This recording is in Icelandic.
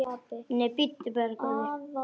Nei, bíddu bara, góði.